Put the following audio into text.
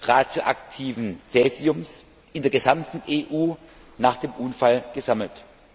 radioaktiven Caesiums in der gesamten EU nach dem Unfall gesammelt.